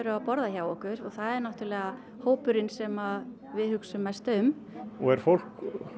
að borða hjá okkur og það er náttúrulega hópurinn sem við hugsum mest um og er fólk